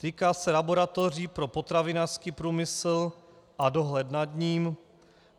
Týká se laboratoří pro potravinářský průmysl a dohled nad ním.